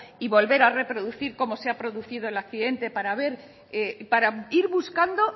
y volver a reproducir como se ha producido el accidente para ir buscando